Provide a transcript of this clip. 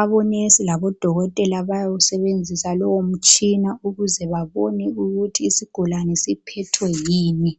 omongikazi labo dokotela bayawusebenzisa lowo mitshina ukuze babone ukuthi isigulane siphethwe yini.